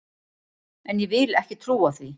En ég vil ekki trúa því!